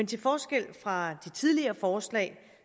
til forskel fra de tidligere forslag